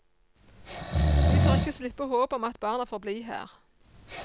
Vi tør ikke slippe håpet om at barna får bli her.